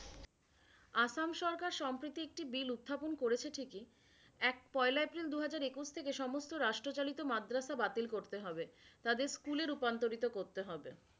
আসাম সরকার সম্প্রীতি একটি বিল উত্থাপন করেছে ঠিকই। এক পয়লা এপ্রিল দুহাজার একুশ থেকে সমস্ত রাষ্ট্রচালিত মাদ্রাসা বাতিল করতে হবে। তাদের স্কুলে রূপান্তরিত করতে হবে।